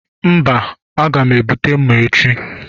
Mba, a ga m ebute mma echi